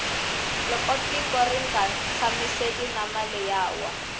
loko gtiko rnga tshamisekangi na mali ya wa